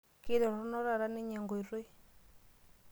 Keitoronok taa ninye enkoitoi.